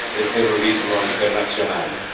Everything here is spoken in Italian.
del terrorismo internazionale.